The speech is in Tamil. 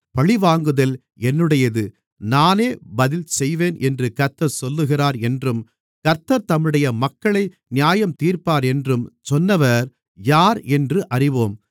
பழிவாங்குதல் என்னுடையது நானே பதில்செய்வேன் என்று கர்த்தர் சொல்லுகிறார் என்றும் கர்த்தர் தம்முடைய மக்களை நியாயந்தீர்ப்பார் என்றும் சொன்னவர் யார் என்று அறிவோம்